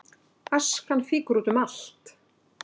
Askan fýkur út um allt